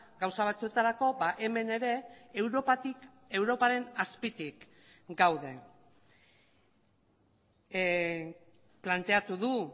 gauza batzuetarako hemen ere europatik europaren azpitik gaude planteatu du